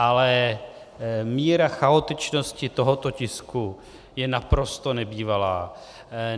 Ale míra chaotičnosti tohoto tisku je naprosto nebývalá.